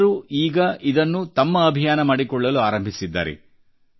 ಜನರು ಈಗ ಇದನ್ನು ತಮ್ಮ ಅಭಿಯಾನ ಮಾಡಿಕೊಳ್ಳಲು ಆರಂಭಿಸಿದ್ದಾರೆ